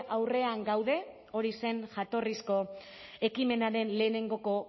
aurrean gaude hori zen jatorrizko ekimenaren lehenengoko